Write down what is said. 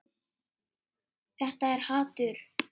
Þetta er hatur.